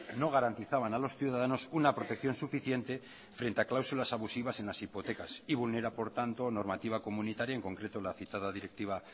no garantizaban a los ciudadanos una protección suficiente frente a cláusulas abusivas en las hipotecas y vulnera por tanto la normativa comunitaria en concreto la citada directiva